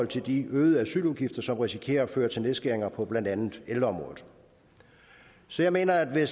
til de øgede asyludgifter som risikerer at føre til nedskæringer på blandt andet ældreområdet så jeg mener at